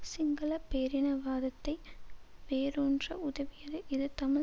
சிங்கள பேரினவாதத்தை வேரூன்ற உதவியது இது தமிழ்